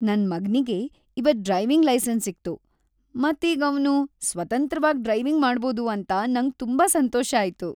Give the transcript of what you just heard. ನನ್ ಮಗ್ನಿಗೆ ಇವತ್ ಡ್ರೈವಿಂಗ್ ಲೈಸೆನ್ಸ್ ಸಿಕ್ತು ಮತ್ ಈಗ ಅವ್ನು ಸ್ವತಂತ್ರವಾಗ್ ಡ್ರೈವಿಂಗ್ ಮಾಡ್ಬೋದು ಅಂತ ನಂಗ್ ತುಂಬಾ ಸಂತೋಷ ಆಯ್ತು.